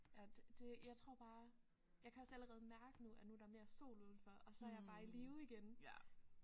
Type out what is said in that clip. Ja det det jeg tror bare jeg kan også allerede mærke nu at nu er der mere sol udenfor og så er jeg bare i live igen